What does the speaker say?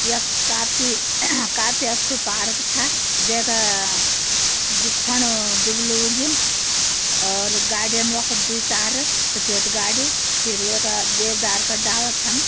यक काफी काफी अच्छु पार्क छ जै का बिछ्वाणु दुबलू उगयुं। और गाड़ियन वखा दुई चार सफेद गाड़ी। फिर वे का देवदार का डाला छन।